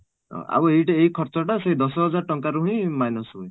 ଆଉ ଏଇ ଏଇ ଖର୍ଚ୍ଚ ଟା ସେଇ ଦଶ ହଜାର ଟଙ୍କା ରୁ ହିଁ minus ହୁଏ